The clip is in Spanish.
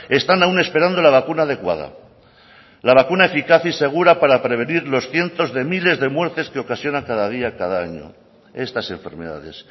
están aún esperando la vacuna adecuada la vacuna eficaz y segura para prevenir los cientos de miles de muertes que ocasiona cada día cada año estas enfermedades